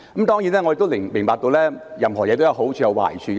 當然，我亦明白任何事情也有好處和壞處。